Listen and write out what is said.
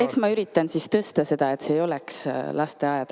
Eks ma üritan siis tõsta seda taset, et see ei oleks lasteaed.